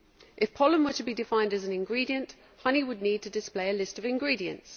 If pollen were to be defined as an ingredient, honey would need to display a list of ingredients.